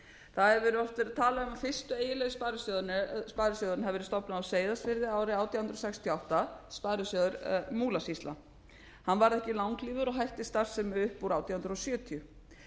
það hefur oft verið talað um fyrsti eiginlegi sparisjóðurinn hafi verið stofnaður á seyðisfirði árið átján hundruð sextíu og átta sparisjóður múlasýslu hann varð ekki langlífur og hætti starfsemi upp úr átján hundruð sjötíu